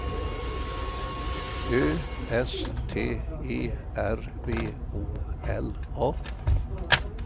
Ö S T E R V Å L A